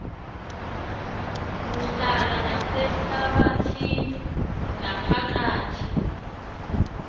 uhlala nasehlabathini naphakathi